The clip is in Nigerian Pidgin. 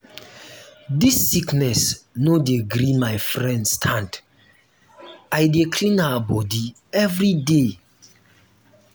dis sickness no dey gree my friend stand i dey clean her bodi everyday.